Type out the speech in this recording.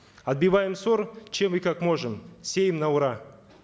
отбиваем сор чем и как можем сеем на ура